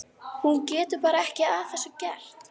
Hún getur bara ekki að þessu gert.